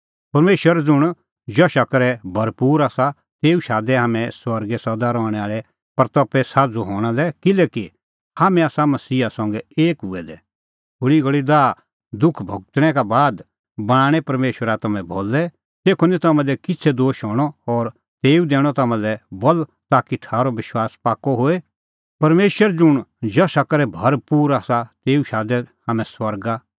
परमेशर ज़ुंण जशा करै भरपूर आसा तेऊ शादै हाम्हैं स्वर्गे सदा रहणैं आल़ी महिमें साझ़ू हणां लै किल्हैकि हाम्हैं आसा मसीहा संघै एक हुऐ दै थोल़ी घल़ी दाहदुख भुगतणै का बाद बणांणैं परमेशरा तम्हैं भलै तेखअ निं तम्हां दी किछ़ै दोश हणअ और तेऊ दैणअ तम्हां लै बल ताकि थारअ विश्वास पाक्कअ होए